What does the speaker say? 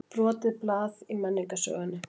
Brotið blað í menningarsögunni